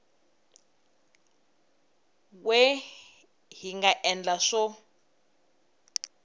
we hi nga endla swo